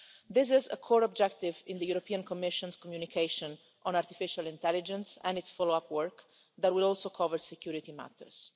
This is a core objective in the Commission's communication on artificial intelligence and in the follow up work that will also cover security matters.